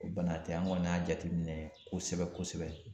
O bana tɛ an kɔni y'a jateminɛ kosɛbɛ kosɛbɛ